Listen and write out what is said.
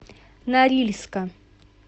норильска